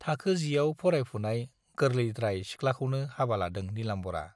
थाखो जियाव फरायफुनाय गोरलैद्राय सिख्लाखौनो हाबा लादों नीलाम्बरा।